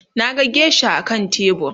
Naga geisha akan tebur